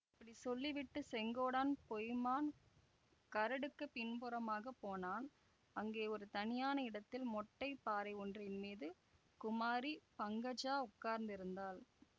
இப்படி சொல்லிவிட்டுச் செங்கோடான் பொய்மான் கரடுக்குப் பின்புறமாக போனான் அங்கே ஒரு தனியான இடத்தில் மொட்டைப் பாறை ஒன்றின் மீது குமாரி பங்கஜா உட்கார்ந்திருந்தாள்